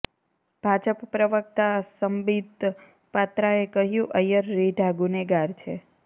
ભાજપ પ્રવકતા સંબિત પાત્રાએ કહ્યું ઐયર રીઢા ગુનેગાર છે